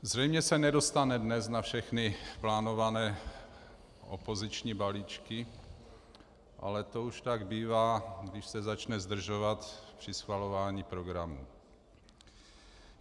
Zřejmě se nedostane dnes na všechny plánované opoziční balíčky, ale to už tak bývá, když se začne zdržovat při schvalování programu.